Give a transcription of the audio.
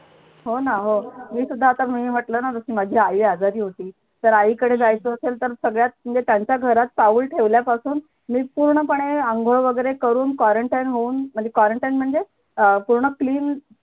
हो ना हो मी सुद्धा आता म्हटलं माजी आई आजारी होती तर आई कडे जायचं असेल तर सगळ्यात म्हणजे त्यांच्या घरात पाऊल ठेवल्यापासून मी पूर्णपणे अंघोळ वगैरे करून quarantine होऊन म्हणजे quarantine म्हणजे अं पूर्ण clean